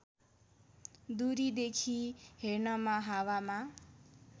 दूरीदेखि हेर्नमा हावामा